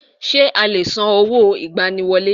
Ṣé o lè san owó ìgbani wọlé?